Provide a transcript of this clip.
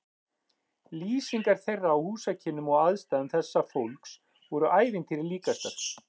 Lýsingar þeirra á húsakynnum og aðstæðum þessa fólks voru ævintýri líkastar.